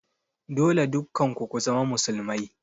Dole dukkan ku ku zama musulmai